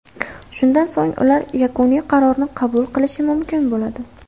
Shundan so‘ng ular yakuniy qarorni qabul qilishi mumkin bo‘ladi.